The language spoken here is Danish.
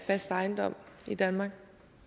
fast ejendom i danmark